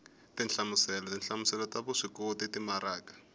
tinhlamuselo tinhlamuselo ta vuswikoti timaraka